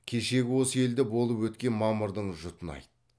кешегі осы елде болып өткен мамырдың жұтын айт